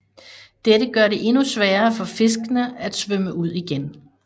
Dette gør det endnu sværere for fiskene at svømme ud igen